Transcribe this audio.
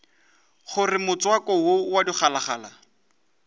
gore motswako wo wa digalagala